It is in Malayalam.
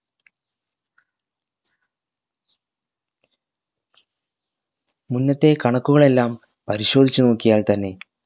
മുന്നത്തെ കണക്കുകളെല്ലാം പരിശോധിച്ച് നോക്കിയാൽ ത്തന്നെ